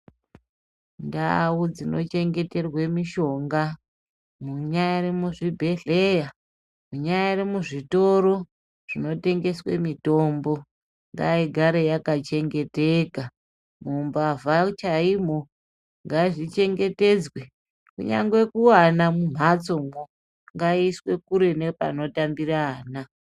Ndau dzinochengeterwe mushonga munyari muzvibhedhleya munyari muzvitoro zvinotengeswe mitombo ngaigare yakachengeteka mumbavha chaimwo ngazvivhengetedzwe kunyangwe kuana mumhatsomwo ngaiiswe kure nepanotambira ana.